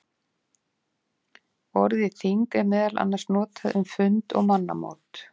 Orðið þing er meðal annars notað um fund og mannamót.